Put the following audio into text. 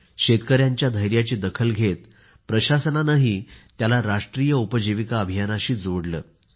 शेतकऱ्यांच्या धैर्याची दखल घेत प्रशासनानेही याला राष्ट्रीय उपजीविका अभियानाशी जोडले आहे